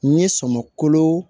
N ye sɔminw